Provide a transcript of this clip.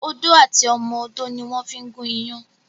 Odó àti ọmọ odó ni wón fí ń gún iyán